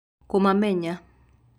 kumamenya